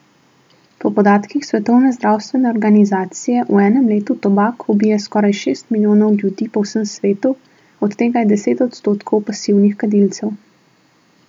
Po podatkih svetovne zdravstvene organizacije v enem letu tobak ubije skoraj šest milijonov ljudi po vsem svetu, od tega je deset odstotkov pasivnih kadilcev.